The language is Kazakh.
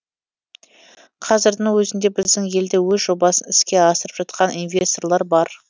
қазірдің өзінде біздің елде өз жобасын іске асырып жатқан инвесторлар бар